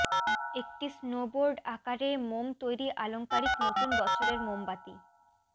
একটি স্নোবোর্ড আকারে মোম তৈরি আলংকারিক নতুন বছরের মোমবাতি